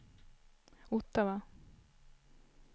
Ottawa